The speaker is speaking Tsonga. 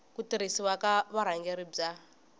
ku tirhisiwa ka vurhangeri bya